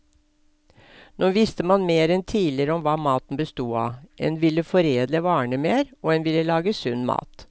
Nå visste man mer enn tidligere om hva maten bestod av, en ville foredle varene mer, og en ville lage sunn mat.